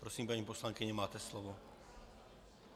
Prosím, paní poslankyně, máte slovo.